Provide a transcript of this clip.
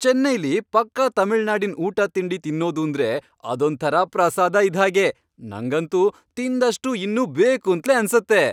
ಚೈನ್ನೈಲಿ ಪಕ್ಕಾ ತಮಿಳ್ನಾಡಿನ್ ಊಟ ತಿಂಡಿ ತಿನ್ನೋದೂಂದ್ರೆ, ಅದೊಂಥರ ಪ್ರಸಾದ ಇದ್ಹಾಗೆ, ನಂಗಂತೂ ತಿಂದಷ್ಟೂ ಇನ್ನೂ ಬೇಕೂಂತ್ಲೇ ಅನ್ಸತ್ತೆ.